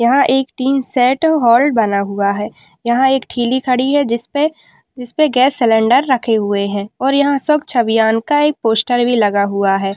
यहां एक tin shed hall बना हुआ है यहां एक ठेली खड़ी है जिसपे जिसपे गैस सिलेंडर रखे हुए है और यहां एक स्वच्छ अभियान का एक पोस्टर भी लगा हुआ है।